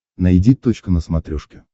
найди точка на смотрешке